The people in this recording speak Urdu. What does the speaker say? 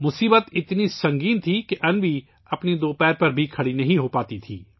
مسئلہ بہت سنجیدہ تھا کیونکہ انوی اپنے دو پیروں پر بھی کھڑی نہیں ہو پاتی تھی